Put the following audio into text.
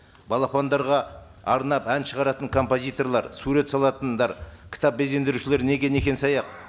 балапандарға арнап ән шығаратын композиторлар сурет салатындар кітап безендірушілер неге некен саяқ